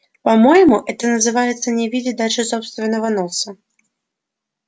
по-моему это называется не видеть дальше собственного носа